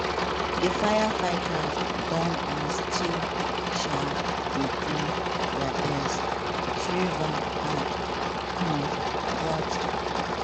"di firefighters don and still um dey do dia best" shriver add um "but